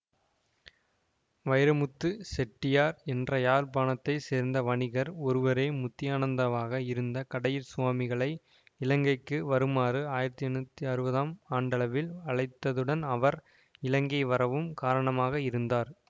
வைரமுத்துச் செட்டியார் என்ற யாழ்ப்பாணத்தைச் சேர்ந்த வணிகர் ஒருவரே முத்தியானந்தாவாக இருந்த கடையிற்சுவாமிகளை இலங்கைக்கு வருமாறு ஆயிரத்தி எண்ணூற்றி அறுபதாம் ஆண்டளவில் அழைத்ததுடன் அவர் இலங்கை வரவும் காரணமாக இருந்தார்